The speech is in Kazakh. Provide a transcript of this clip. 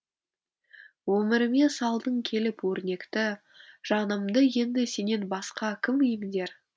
өміріме салдың келіп өрнекті жанымды енді сенен басқа кім емдер